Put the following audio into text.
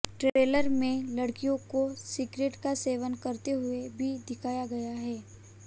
trailer में लड़कियों को सिगरेट का सेवन करते हुए भी दिखाया गया है